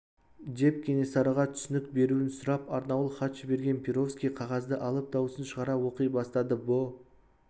деп кенесарыға түсінік беруін сұрап арнаулы хат жіберген перовский қағазды алып даусын шығара оқи бастады бұ